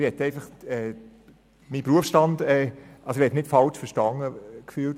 Ich will nicht falsch verstanden werden.